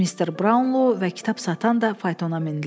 Mister Braunlo və kitab satan da faytona mindilər.